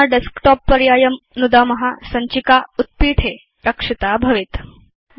अधुना Desktopपर्यायं नुदाम सञ्चिका उत्पीठे रक्षिता भवेत्